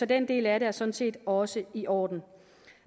den del af det er sådan set også i orden